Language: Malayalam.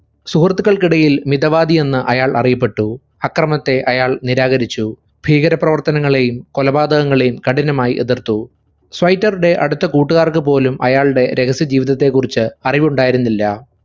സുഹൃത്തുക്കൾക്കിടയിൽ മിതവാദിയെന്ന് അയാൾ അറിയപ്പെട്ടു. ആക്രമണത്തെ അയാൾ നിരാകരിച്ചു. ഭീകരപ്രവർത്തനങ്ങളെയും കൊലപാതകങ്ങളെയും കഠിനമായി എതിർത്തു. സ്വൈറ്ററുടെ അടുത്ത കൂട്ടുകാർക്കുപോലും അയാളുടെ രഹസ്യ ജീവിതത്തെ കുറിച്ച് അറിവുണ്ടായിരുന്നില്ല.